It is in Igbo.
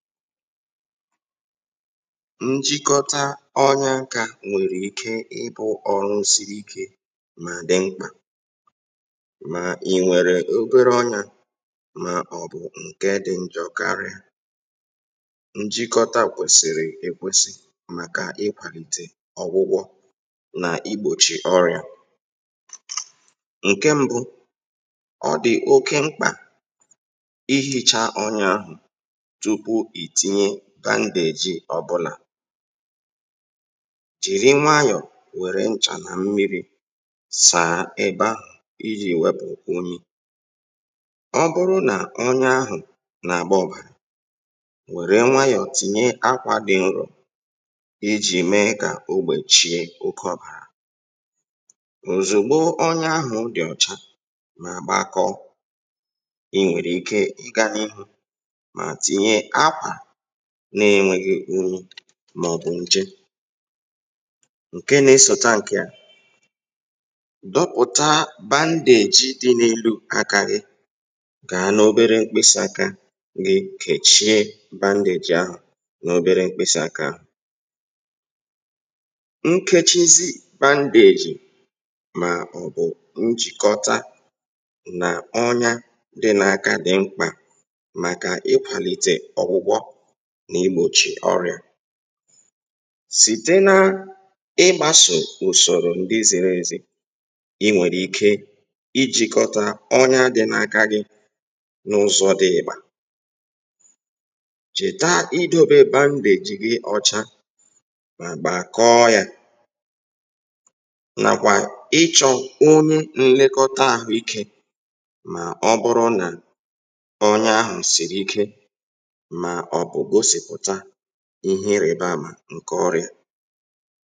Ịjikọ́ta onya nke ọma bụ́ ọrụ dị̀ mkpa ma dị́kwa mkpa. Ọ bụrụ́ na ị nwere obere onya ma ọ bụ̀ ọbụna nke dị́ njọ́ karịa um ịjikọ́ta onya nke ọma na-enyere aka iwètá ọgwụgwọ ma gbochie ọrịa. Ọ dị̀ ezigbo mkpa ka ị kpochaa onya ahụ́ tupu ihe ọ bụla ọzọ. Jiri bandeej dị ọ́cha ma sachaa ebe ahụ́ nwayọ̀ nwayọ̀ na nchà na mmíri iji wepụ̀ unyi. Ọ bụrụ́ na onye ahụ́ na-agbà ọ̀bàrà tìnye akwa dị nro nwayọ̀ iji nyere aka igbochi ọ̀bàrà ịga n’ihu. Mgbe onya ahụ́ dị ọ́cha ma adịghịzi unyi ma ọ bụ̀ nje tìnye bandeej n’elu ya. Jikọọ bandeej ahụ́ gburugburu mkpịsị̀aka ma ọ bụ̀ aka nwayọ̀ ma sìe ike um mee ka o dèbèe ya nke ọma. Ịjikọ́ta onya nke ọma dị mkpa maka iwètá ọgwụgwọ ma gbochie ọrịa ma ọ bụrụ́ na a sòrò usoro kwèsịrị ekwèsị. Ị nwekwara ike ijide bandeej ahụ́ ka ọ nọgide dị ọ́cha ma ọ bụrụ́ na o kwere mee um chọọ enyémáka n’aka onye nlekọta ahụ́ íké. Ọ bụrụ́ na onya ahụ́ siri ike onye ahụ́ kwesị̀rị̀ ịga kpọrọ dọ́kịta ozugbo.